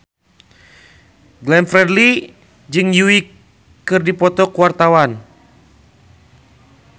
Glenn Fredly jeung Yui keur dipoto ku wartawan